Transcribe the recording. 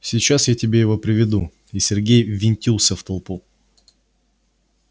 сейчас я тебе его приведу и сергей ввинтился в толпу